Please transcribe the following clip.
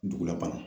Dugulabana